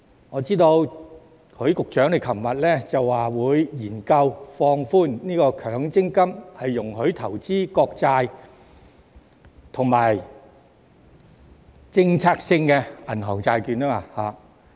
我知道許局長昨天表示會研究放寬強積金，容許投資國債及政策性銀行債券。